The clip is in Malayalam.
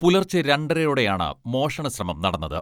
പുലർച്ചെ രണ്ടരയോടെയാണ് മോഷണ ശ്രമം നടന്നത്.